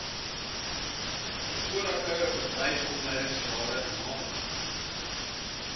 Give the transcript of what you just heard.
vorige bedryfsopleidingsrade naamlik